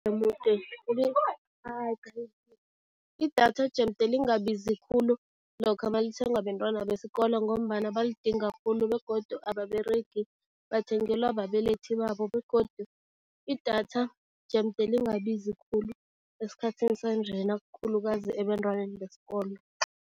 Idatha jemde lingabizi khulu lokha malithengwa bentwana besikolo ngombana baligidinga khulu begodu ababeregi, bathengelwa babelethi babo begodu idatha jemde lingabizi khulu esikhathini sanjena, khulukazi ebantwaneni besikolo.